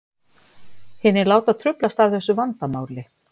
Hinir láta truflast af þessu vandamáli.